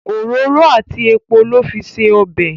òróró àti èpo ló fí se ọbẹ